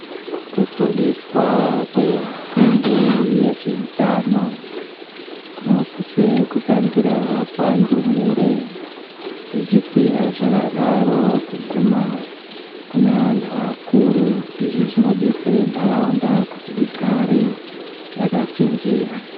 Kufundiswa kwefundo yezveutano kunosise kutangira pandumure zvichikwira zvakadaro kuguma kune anti akuru, izvi zvinodetsera ntaraunda kuti igare yakachenjera.